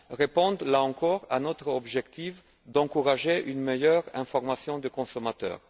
répond là encore à notre objectif d'encourager une meilleure information du consommateur.